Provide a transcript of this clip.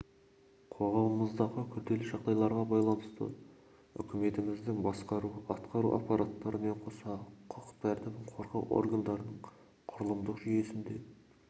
қоғамымыздағы күрделі жағдайларға байланысты үкіметіміздің басқару-атқару аппараттарымен қоса құқық тәртібін қорғау органдарының құрылымдық жүйесінде